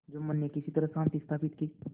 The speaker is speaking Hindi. जुम्मन ने किसी तरह शांति स्थापित की